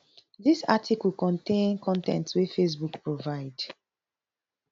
dis article contain con ten t wey facebook provide